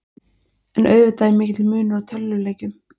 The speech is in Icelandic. En auðvitað er mikill munur á tölvuleikjum.